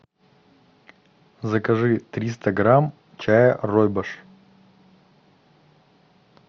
закажи триста грамм чая ройбуш